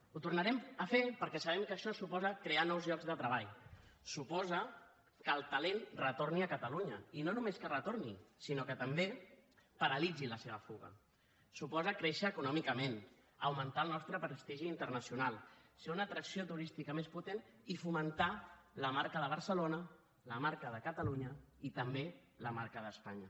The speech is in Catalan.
ho tornarem a fer perquè sabem que això suposa crear nous llocs de treball suposa que el talent retorni a catalunya i no només que retorni sinó que també paralitzi la seva fuga suposa créixer econòmicament augmentar el nostre prestigi internacional ser una atracció turística més potent i fomentar la marca de barcelona la marca de catalunya i també la marca d’espanya